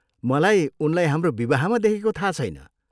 मलाई उनलाई हाम्रो विवाहमा देखेको थाहा छैन।